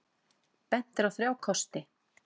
Bent er á þrjá kosti.